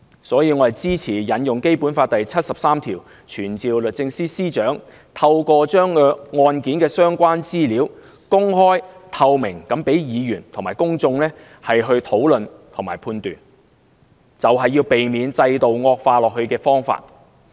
所以，我支持引用《基本法》第七十三條傳召律政司司長，透過公開案件的相關資料，讓議員和公眾討論和判斷，這是避免制度惡化的方法。